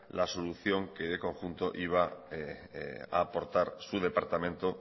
la solución que en conjunto iba a aportar su departamento